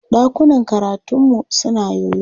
Ɗakunan karataunmu suna yoyo.